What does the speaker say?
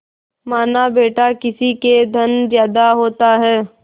मानाबेटा किसी के धन ज्यादा होता है